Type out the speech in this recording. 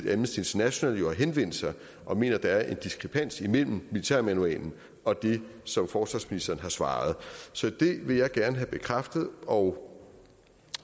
international jo har henvendt sig og mener at der er en diskrepans imellem militærmanualen og det som forsvarsministeren har svaret så det vil jeg gerne have bekræftet og